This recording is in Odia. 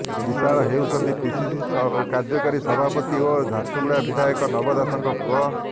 ବିଶାଳ ହେଉଛନ୍ତି ପିସିସି କାର୍ଯ୍ୟକାରୀ ସଭାପତି ଓ ଝାରସୁଗୁଡ଼ା ବିଧାୟକ ନବ ଦାସଙ୍କ ପୁଅ